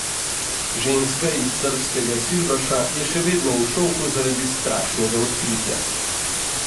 Ženska iz srbskega Silbaša je še vedno v šoku zaradi strašnega odkritja.